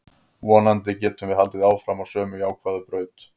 Vonandi getum við haldið áfram á sömu jákvæðu braut.